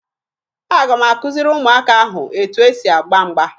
Aga m akụziri ụmụaka ahụ etu e si agba mgba